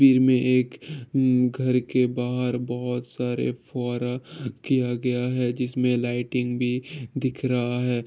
तस्वीर में एक घर के बाहर बहुत सारा फुव्वारा की किया गया है जिसमें लाइटिंग भी दिख रहा है।